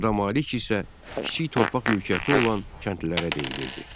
Xırda malik isə kiçik torpaq mülkiyyəti olan kəndlilərə deyilirdi.